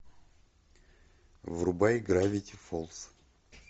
врубай гравити фолз